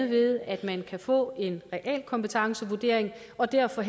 ved at man kan få en realkompetencevurdering og derfor